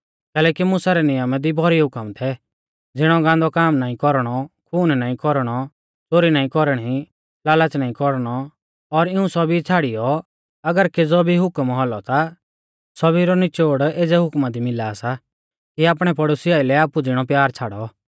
कैलैकि मुसा रै नियमा दी भौरी हुकम थै ज़िणै गांदौ काम नाईं कौरणौ खून नाईं कौरणौ च़ोरी नाईं कौरणी लाल़च़ नाईं कौरणौ और इऊं सौभी छ़ाड़ियौ और अगर केज़ौ भी हुकम औलौ ता सौभी रौ निचोड़ एज़ै हुकमा दी मिला सा कि आपणै पड़ोसी आइलै आपु ज़िणौ प्यार छ़ाड़ौ